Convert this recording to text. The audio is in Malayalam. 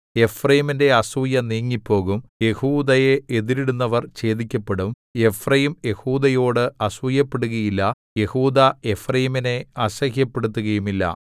എഫ്രയീമിന്റെ അസൂയ നീങ്ങിപ്പോകും യെഹൂദായെ എതിരിടുന്നവർ ഛേദിക്കപ്പെടും എഫ്രയീം യെഹൂദായോട് അസൂയപ്പെടുകയില്ല യെഹൂദാ എഫ്രയീമിനെ അസഹ്യപ്പെടുത്തുകയുമില്ല